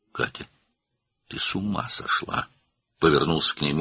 "Katya, sən dəli olmusan?" - əri ona tərəf döndü.